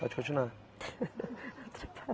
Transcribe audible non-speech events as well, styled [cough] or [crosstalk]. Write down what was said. Pode continuar. [laughs]